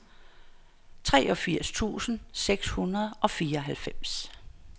treogfirs tusind seks hundrede og fireoghalvfems